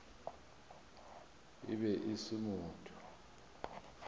e be e se motho